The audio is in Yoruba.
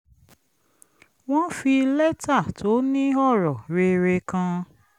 wọ́n fi lẹ́tà tó ni ọ̀rọ̀ rere kan